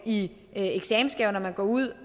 i eksamensgave når man går ud